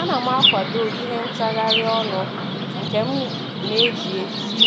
A na m akwado ihe ntagharị ọnụ nke m na-eji eti